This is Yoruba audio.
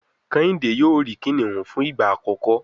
Kehinde yóò ri kiniun fun igba akọkọ